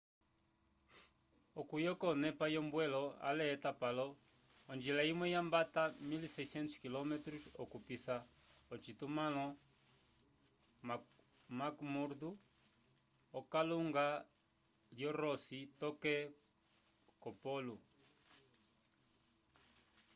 okuyoka onepa yombwelo ale etapalo onjila imwe yambata 1600 km okupisa ocitumãlo mcmurdo v’okalunga lyo ross toke ko polo